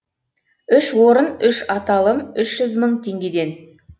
үш орын үш аталым үш жүз мың теңгеден